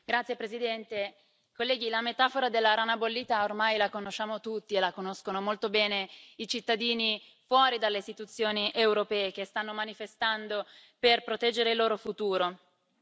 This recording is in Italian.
Signor Presidente, onorevoli colleghi, la metafora della rana bollita ormai la conosciamo tutti, e la conoscono molto bene i cittadini fuori dalle istituzioni europee, che stanno manifestando per proteggere il loro futuro.